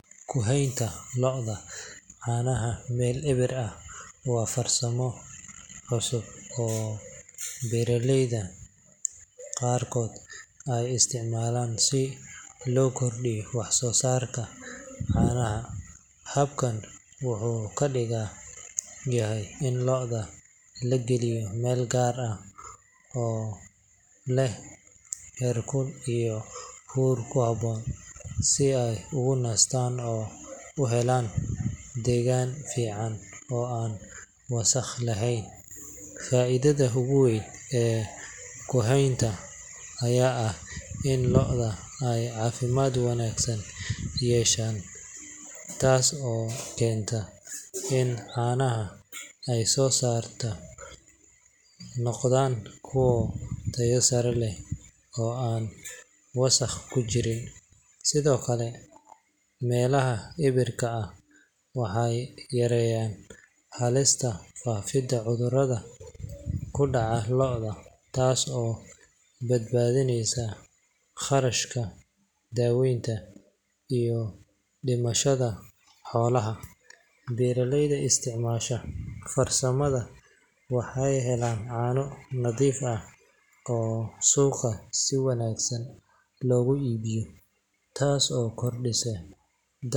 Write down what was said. Ku-heynta lo'da caanaha meel eber ah waa farsamo cusub oo beeraleyda qaarkood ay isticmaalaan si loo kordhiyo wax-soo-saarka caanaha. Habkan wuxuu ka dhigan yahay in lo'da la geliyo meel gaar ah oo leh heerkul iyo huur ku habboon, si ay ugu nastaan oo u helaan deegaan fiican oo aan wasakh lahayn. Faa’iidada ugu weyn ee ku-heyntan ayaa ah in lo'da ay caafimaad wanaagsan yeeshaan, taas oo keenta in caanaha ay soo saaraan noqdaan kuwo tayo sare leh oo aan wasakh ku jirin. Sidoo kale, meelaha eberka ah waxay yareeyaan halista faafida cudurrada ku dhaca lo'da, taas oo badbaadinaysa kharashka daaweynta iyo dhimashada xoolaha. Beeraleyda isticmaasha farsamadan waxay helaan caano nadiif ah oo suuqa si wanaagsan loogu iibiyo, taas oo kordhisa.